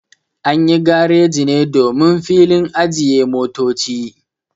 Anyi gareji ne domin filin ajiye motoci